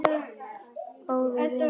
Böggi frændi er allur.